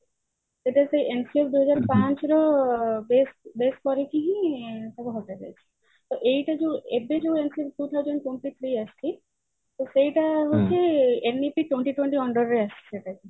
ସେଇଟା ସେ ଦୁଇହଜାର ପାଞ୍ଚ ରୁ base base କରିକି ହିଁ ହଟା ଯାଇଛି ତ ଏଇଟା ଯୋଉ ଏବେ ଯୋଉ two thousand twenty three ଆସିଛି ତ ସେଇଟା ହଉଛି twenty twenty under ରେ ଆସିଛି ଏବେ